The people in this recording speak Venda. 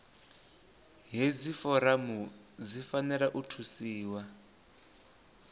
hedzi foramu dzi fanela u thusiwa